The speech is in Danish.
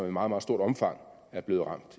i meget meget stort omfang er blevet ramt